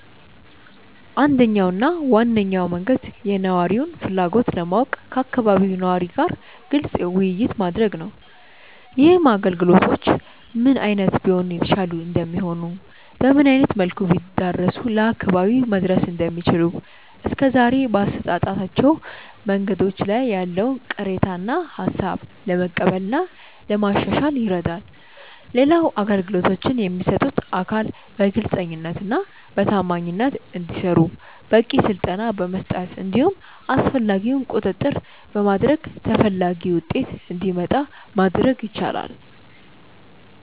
አንደኛው እና ዋነኛው መንገድ የነዋሪውን ፍላጎት ለማወቅ ከአካባቢው ነዋሪ ጋር ግልጽ ውይይት ማድረግ ነው። ይህም አገልግሎቶቹ ምን አይነት ቢሆኑ የተሻሉ እንደሚሆኑ፤ በምን አይነት መልኩ ቢዳረሱ ለአካባቢው መድረስ እንደሚችሉ፤ እስከዛሬ በአሰጣጦቹ መንገዶች ላይ ያለውን ቅሬታ እና ሃሳብ ለመቀበል እና ለማሻሻል ይረዳል። ሌላው አገልግሎቶቹን የሚሰጡት አካል በግልጸኝነት እና በታማኝነት እንዲሰሩ በቂ ስልጠና በመስጠት እንዲሁም አስፈላጊውን ቁጥጥር በማድረግ ተፈላጊው ውጤት እንዲመጣ ማድረግ ይቻላል።